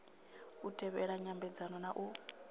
u tevhela nyambedzano na u